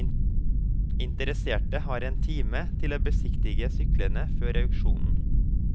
Interesserte har en time til å besiktige syklene før auksjonen.